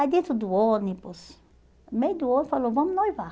Aí dentro do ônibus, no meio do ônibus, falou, vamos noivar.